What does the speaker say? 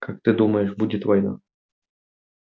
как ты думаешь будет война